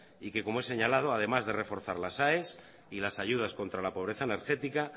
y que como he señalado además de reforzar las aes y las ayudas contra la pobreza energética